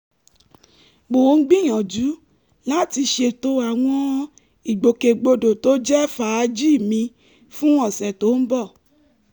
mò ń gbìyànjú láti ṣètò àwọn ìgbòkègbodò tó jẹ́ fàájì mi fún ọ̀sẹ̀ tó ń bọ̀